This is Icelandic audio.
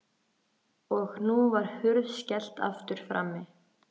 Og nú var hurð skellt aftur frammi.